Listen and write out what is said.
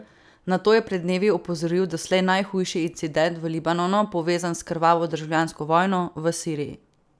Na to je pred dnevi opozoril doslej najhujši incident v Libanonu, povezan s krvavo državljansko vojno v Siriji.